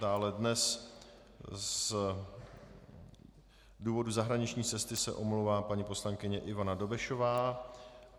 Dále dnes z důvodu zahraniční cesty se omlouvá paní poslankyně Ivana Dobešová.